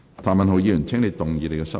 譚文豪議員，請動議你的修正案。